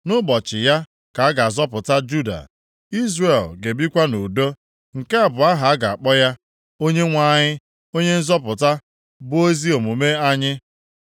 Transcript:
Nʼụbọchị, ya ka a ga-azọpụta Juda, Izrel ga-ebikwa nʼudo. Nke a bụ aha a ga-akpọ ya: Onyenwe anyị Onye Nzọpụta, bụ Ezi omume Anyị. + 23:6 Onyenwe anyị, bụ ezi omume anyị.